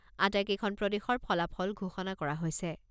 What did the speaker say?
আটাইকেইখন প্ৰদেশৰ ফলাফল ঘোষণা কৰা হৈছে।